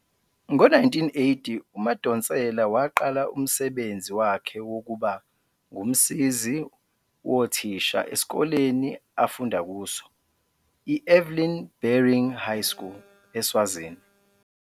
Ngo-1980, uMadonsela waqala umsebenzi wakhe wokuba ngumsizi wothisha esikoleni afunda kuso, i-Evelyn Baring High School, eSwazini.